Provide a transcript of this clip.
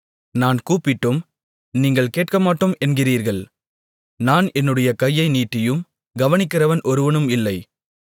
நான் கூப்பிட்டும் நீங்கள் கேட்கமாட்டோம் என்கிறீர்கள் நான் என்னுடைய கையை நீட்டியும் கவனிக்கிறவன் ஒருவனும் இல்லை